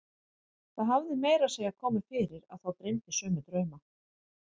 Það hafði meira að segja komið fyrir að þá dreymdi sömu drauma.